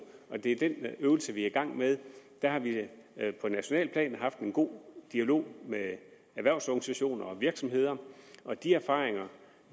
og det er den øvelse vi er i gang med der har vi på nationalt plan haft en god dialog med erhvervsorganisationerne virksomhederne og de erfaringer